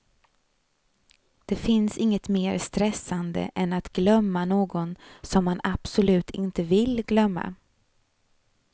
Det finns inget mer stressande än att glömma någon som man absolut inte vill glömma.